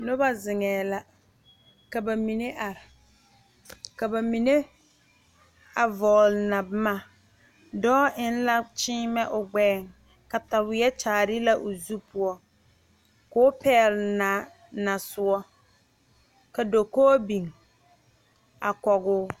Noba zeŋee la ka ba mine are ka ba mine vɔgele na boma dɔɔ eŋ la kyeemɛ o gbɛɛŋ kataweɛ kyaare la o zu poɔ ka o pɛgele naa nasoɔ ka dakoo biŋ a kɔge o